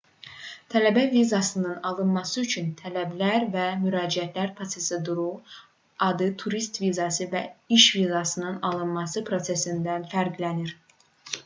tələbə vizasının alınması üçün tələblər və müraciət proseduru adi turist vizası və iş vizasının alınması prosedurlarından fərqlənir